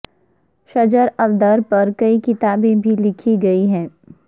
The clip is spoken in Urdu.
شجر الدر پر کئی کتابیں بھی لکھی گئی ہیں